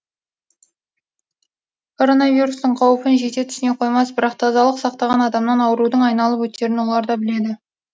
коронавирустың қаупін жете түсіне қоймас бірақ тазалық сақтаған адамнан аурудың айналып өтерін олар да біледі